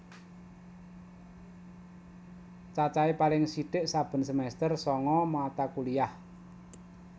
Cacahe paling sithik saben semester sanga mata kuliah